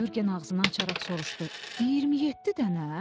Yurgen ağzını açaraq soruşdu: 27 dənə?